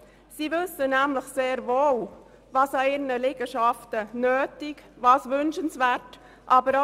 Sie wissen nämlich sehr wohl, was an ihren Liegenschaften nötig und wünschenswert ist.